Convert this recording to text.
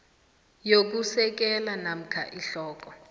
yokusekela namkha ihloko